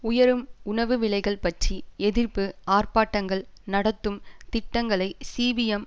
உயரும் உணவு விலைகள் பற்றி எதிர்ப்பு ஆர்ப்பாட்டங்கள் நடத்தும் திட்டங்களை சிபிஎம்